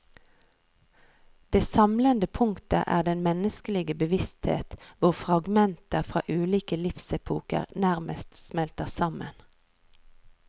Det samlende punktet er den menneskelige bevissthet hvor fragmenter fra ulike livsepoker nærmest smelter sammen.